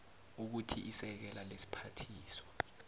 ukuthi isekela lesiphathiswa